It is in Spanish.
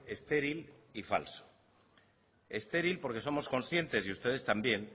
estéril y falso estéril porque somos conscientes y ustedes también